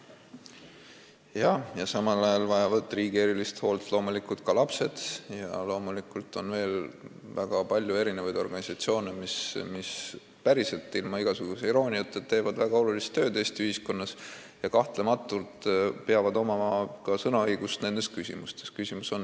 Jaa, ja samal ajal vajavad riigi erilist hoolt loomulikult ka lapsed ning on veel väga palju organisatsioone, mis – päriselt, ilma igasuguse irooniata – teevad väga olulist tööd Eesti ühiskonnas ja kahtlemata peab neil olema ka nendes küsimustes sõnaõigus.